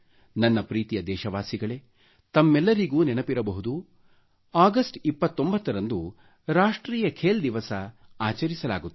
ನನ್ನ ಪ್ರೀತಿಯ ದೇಶವಾಸಿಗಳೆ ತಮ್ಮೆಲ್ಲರಿಗೂ ನೆನಪಿರಬಹುದು 29 ಅಗಷ್ಟ ರಂದು ರಾಷ್ಟ್ರೀಯ ಖೇಲ್ ದಿವಸ ಎಂದು ಆಚರಿಸಲಾಗುತ್ತದೆ